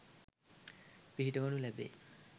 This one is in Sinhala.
පිහිටවනු ලැබේ.